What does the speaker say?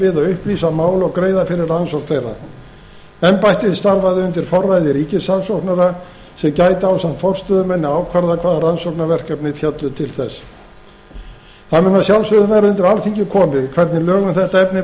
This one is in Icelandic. við að upplýsa mál og greiða fyrir rannsókn þeirra embættið starfi undir forræði ríkissaksóknara sem gæti ásamt forstöðumanni ákvarðað hvaða rannsóknarefni féllu til þess það mun að sjálfsögðu verða undir alþingi komið hvernig lög um þetta efni